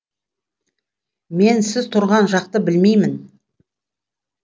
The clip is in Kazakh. мен сіз тұрған жақты білмеймін